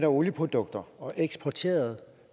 olieprodukter og eksporterede